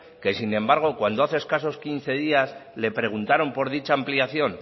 que sin embargo cuando escaso quince días le preguntaron por dicha ampliación